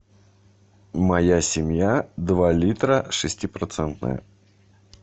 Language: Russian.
моя семья два литра шестипроцентное